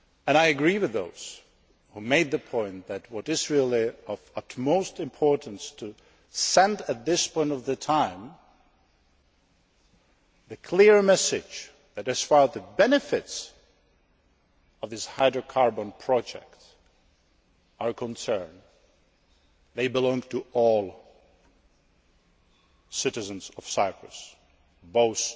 I agree with those who made the point that what is really of the utmost importance is to send, at this point in time, the clear message that, as far as the benefits of this hydrocarbon project are concerned, they belong to all citizens of Cyprus, in